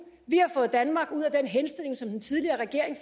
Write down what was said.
vi har fået danmark ud af den henstilling som den tidligere regering